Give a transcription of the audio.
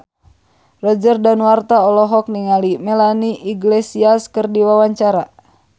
Roger Danuarta olohok ningali Melanie Iglesias keur diwawancara